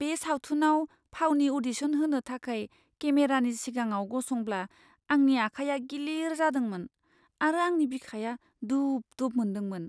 बे सावथुनाव फावनि अ'डिशन होनो थाखाय केमेरानि सिगाङाव गसंब्ला आंनि आखाइया गिलिर जादोंमोन आरो आंनि बिखाया दुब दुब मोनदोंमोन।